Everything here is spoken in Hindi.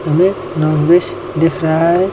हमें नॉनवेज दिख रहा है।